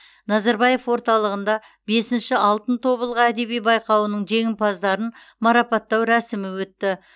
назарбаев орталығында бесінші алтын тобылғы әдеби байқауының жеңімпаздарын марапаттау рәсімі өтті